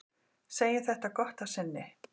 Segjum þetta gott að sinni.